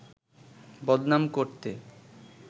বদনাম করতে